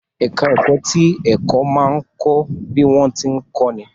Ẹ̀ká ẹ̀kọ́ ti ẹ̀kọ́ máa ń kọ́ bí wọ́n tí ń kọ́ ni